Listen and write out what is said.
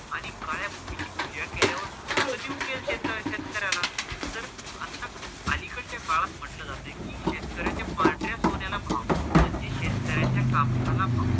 आणि काळ्या भुमीची पूजा केल्यावर सोनं कधी उगेल शेतकऱ्याला जर आत्ता आली कडच्या काळात म्हंटल जात कि शेतकऱ्याचा पांढऱ्या सोन्याला भाव म्हणजे शेतकऱ्याचा कापसाला भाव